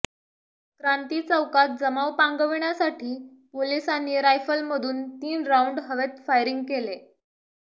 क्रांती चौकात जमाव पांगविण्यासाठी पोलिसांनी रायफल मधून तीन राउंड हवेत फायरिंग केले